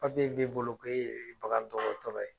Papiye b'e bolo ko e ye bagan dɔgɔtɔrɔ ye.